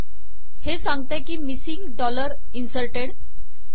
हे सांगते की मिसिंग डॉलर इन्सर्टेड